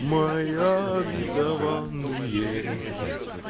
моя обетованные